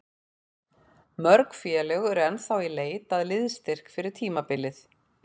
Mörg félög eru ennþá í leit að liðsstyrk fyrir tímabilið.